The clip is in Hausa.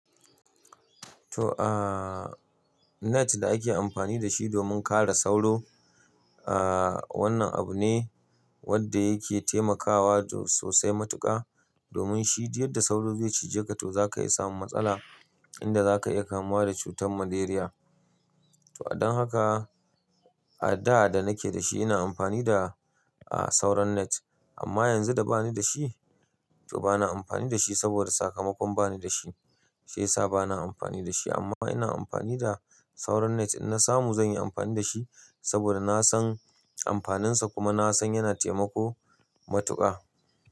To, aaah, net da ake amfani da shi domin kare sauro, aaah, wannan abu ne wanda yake taimakawa sosai matuƙa. Domin shi duk yadda sauro zai cije ka to zaka iya samun matsala inda zaka iya kamuwa da cutar malaria. To a, don haka a da da nake da shi ina amfani da, ah, sauran net amma yanzu da bani da shi to bana amfani da shi saboda sakamakon bani da shi shiyasa bana amfani da shi amma ina amfani da sauran net. In na samu zan yi amfani da shi saboda na san amfaninsa kuma na san yana taimako matuƙa.